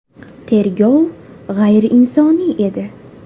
Tergov g‘ayriinsoniy edi.